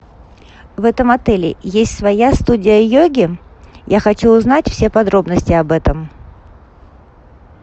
в этом отеле есть своя студия йоги я хочу узнать все подробности об этом